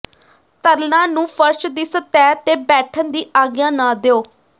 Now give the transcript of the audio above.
ਤਰਲਾਂ ਨੂੰ ਫਰਸ਼ ਦੀ ਸਤਹ ਤੇ ਬੈਠਣ ਦੀ ਆਗਿਆ ਨਾ ਦਿਓ